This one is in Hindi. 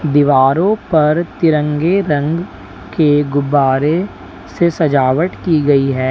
दीवारों पर तिरंगे रंग के गुब्बारे से सजावट की गई है।